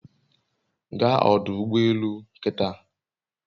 Gaa ọdụ ụgbọ elù kịtà